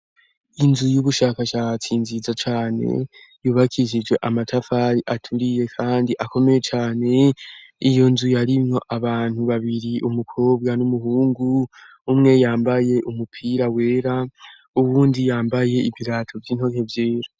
Inzu y'ubushakashatsi nziza cane yubakijije amatafari aturiye kandi akomeye cyane iyo nzu yarimwo abantu babiri umukobwa n'umuhungu umwe yambaye umupira wera ubundi yambaye ibirato vy'intoke vyera.